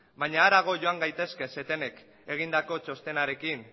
baina harago joan gaitezke setemek egindako txostenarekin